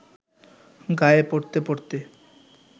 গায়ে পরতে পরতে